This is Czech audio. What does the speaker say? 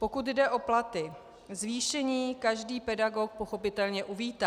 Pokud jde o platy, zvýšení každý pedagog pochopitelně uvítá.